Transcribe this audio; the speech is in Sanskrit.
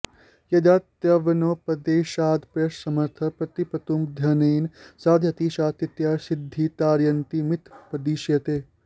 यदा त्वन्योपदेशादप्यसमर्थः प्रतिपत्तुमध्ययनेन साधयति सा तृतीया सिद्धिः तारयन्तमित्यपदिश्यते